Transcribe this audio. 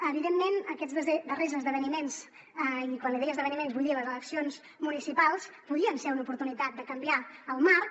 evidentment aquests dos darrers esdeveniments i quan li deia esdeveniments vull dir les eleccions municipals podrien ser una oportunitat de canviar el marc